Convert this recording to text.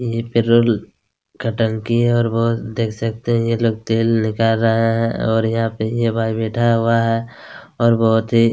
यह पेरोल का टंकी है और बहुत देख सकते है यह लोग तेल निकाल रहे है और यहाँ पे एक भाई बैठा हुआ है और बहुत ही--